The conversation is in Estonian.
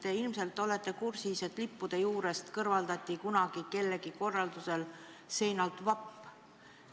Te ilmselt olete kursis, et lippude juurest seinalt kõrvaldati kunagi kellegi korraldusel vapp.